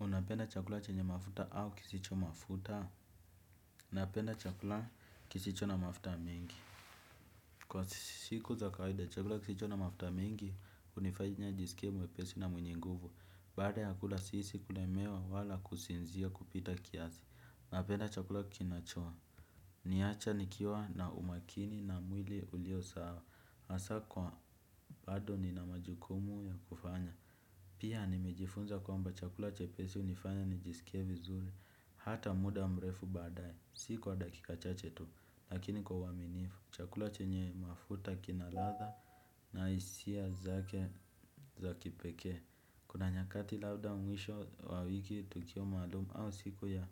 Unapenda chakula chenye mafuta au kisicho mafuta. Napenda chakula kisicho na mafuta mingi. Kwa siku za kawaida, chakula kisicho na mafuta mingi, hunifanya nijiskie mwepesi na mwenye nguvu. Baada ya kula sisi kulemewa wala kusinzia kupita kiasi. Unapenda chakula kinach. Niacha nikiwa na umakini na mwili ulio sawa. hAsa kwa bado nina majukumu ya kufanya. Pia nimejifunza kwamba chakula chepesi hunifanya nijiskie vizuri. Hata muda mrefu badae, si kwa dakika chache tu, lakini kwa uaminifu, chakula chenye mafuta kina radha na hisia zake za kipekee. Kuna nyakati labda mwisho wa wiki tukio maalum au siku ya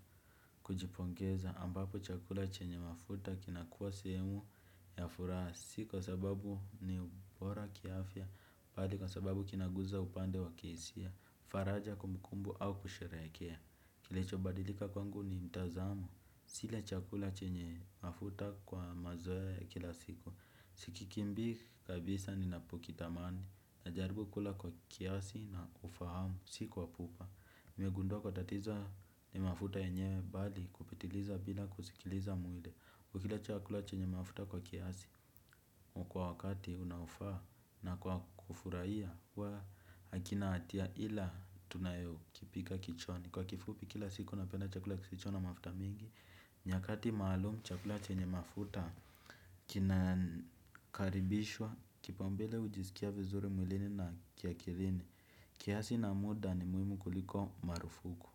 kujipongeza, ambapo chakula chenye mafuta kina kuwa sehemu ya furaha. Si kwa sababu ni bora kiafya, bali kwa sababu kinaguza upande wa kihisia, faraja kumbukumbu au kusherehekea. Kilicho badilika kwangu ni mtazamo. Sile chakula chenye mafuta kwa mazoe kila siku. Sikikimbi kabisa ninapokitamani najaribu kula kwa kiasi na ufahamu si kwa pupa. Nimegundua kuwa tatizo ni mafuta yenyewe bali kupitiliza bila kusikiliza mwili. Kwa kila chakula chenye mafuta kwa kiasi kwa wakati unaofaa na kwa kufurahia kwa hakina hatia ila tunayo kipika kichwani. Kwa kifupi kila siku napenda chakula kisicho na mafuta mingi. Nyakati maalum chakula chenye mafuta kinakaribishwa kipaumbele ujisikia vizuri mwilini na kia akilini. Kiasi na muda ni muimu kuliko marufuku.